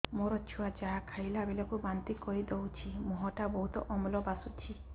ମୋ ଛୁଆ ଯାହା ଖାଇଲା ବେଳକୁ ବାନ୍ତି କରିଦଉଛି ମୁହଁ ଟା ବହୁତ ଅମ୍ଳ ବାସୁଛି